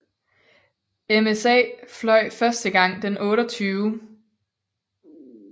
MSA fløj første gang den 28